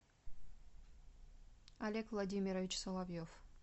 олег владимирович соловьев